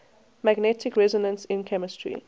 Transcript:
magnetic resonance in chemistry